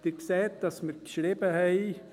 Sie sehen, dass wir geschrieben haben: